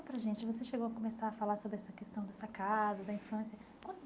Fala para a gente, você chegou a começar a falar sobre essa questão dessa casa, da infância